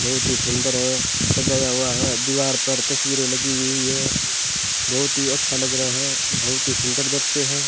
बहुत ही सुंदर है सजाया हुआ है दीवार पर तस्वीरें लगी हुई है बहुत ही अच्छा लग रहा है बहुत ही सुंदर दृश्य है।